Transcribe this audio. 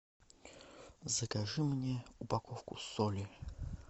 закажи мне упаковку соли